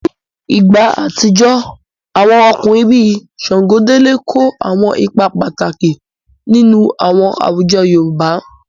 Ní ìgbà àtijọ́, àwọn ọkùnrin bíi Ṣàngódélé kó àwọn ipa pàtàkì nínú àwọn àwùjọ yoòbá